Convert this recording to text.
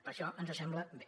per això ens sembla bé